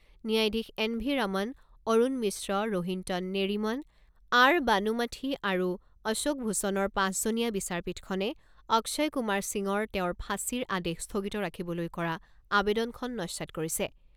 ন্যায়াধীশ N V Raman, Arun Mishra, Rohinton Nariman, R Banumathi আৰু অশোক ভূষণৰ পাঁচজনীয়া বিচাৰপীঠখনে অক্ষয় কুমাৰ সিঙৰ তেওঁৰ ফাঁচীৰ আদেশ স্থগিত ৰাখিবলৈ কৰা আবেদনখন নস্যাৎ কৰিছে।